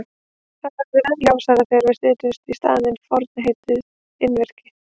Þetta verður enn ljósara þegar við setjum í staðinn forna samheitið einvirki.